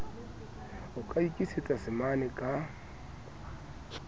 o ka ikisetsa samane ka